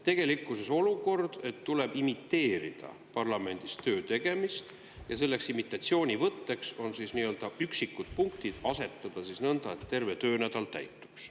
Tegelikkuses on meil siis olukord, kus tuleb imiteerida parlamendis töö tegemist, ja selleks imitatsioonivõtteks on üksikute punktide asetamine nõnda, et terve töönädal täituks.